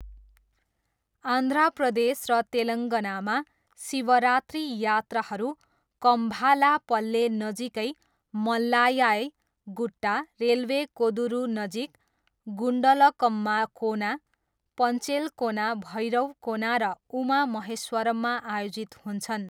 आन्ध्र प्रदेश र तेलङ्गानामा, शिवरात्रि यात्राहरू कम्भालापल्ले नजिकै मल्ल्याय गुट्टा, रेलवे कोदुरूनजिक गुन्डलकम्मा कोना, पेन्चलकोना, भैरवकोना र उमा महेश्वरममा आयोजित हुन्छन्।